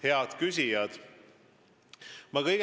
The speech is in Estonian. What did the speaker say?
Head küsijad!